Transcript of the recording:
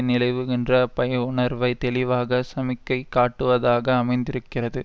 நிலவுகின்ற பயஉணர்வை தெளிவாக சமிக்கை காட்டுவதாக அமைந்திருக்கிறது